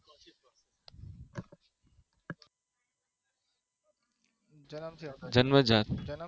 જન્મ્યો જ્યાં